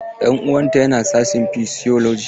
Ɗan uwan ta yana sashin physiology.